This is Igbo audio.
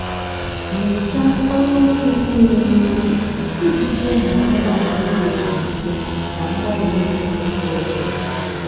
mechaa ọrụ nri niile n'oge iji nye ụmụ anụmanụ oge ezumike na mgbari nri kwesịrị ekwesị.